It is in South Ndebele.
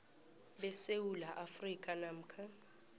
besewula afrika namkha